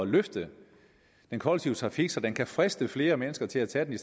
løfte den kollektive trafik så den kan friste flere mennesker til at tage den